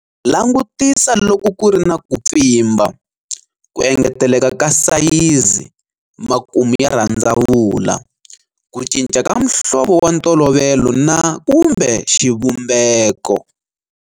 Langutisa loko ku ri na ku pfimba, ku engeteleka ka sayizi, makumu ya rhandzavula, ku cinca ka muhlovo wa ntolovelo na kumbe xivumbeko.